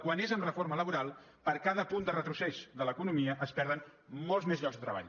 quan és amb reforma laboral per cada punt de retrocés de l’economia es perden molts més llocs de treball